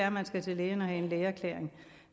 at man skal til lægen og have en lægeerklæring